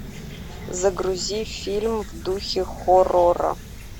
загрузи фильм в духе хоррора